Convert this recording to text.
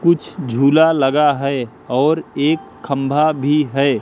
कुछ झूला लगा है और एक खम्भा भी है।